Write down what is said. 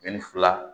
fila